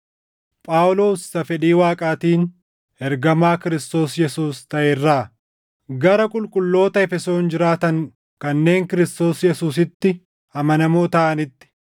Phaawulos isa fedhii Waaqaatiin ergamaa Kiristoos Yesuus taʼe irraa, Gara qulqulloota Efesoon jiraatan kanneen Kiristoos Yesuusitti amanamoo taʼanitti: